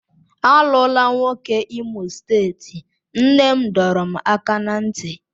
Alụla nwoke Imo steeti, nne m dọrọ m aka ná ntị.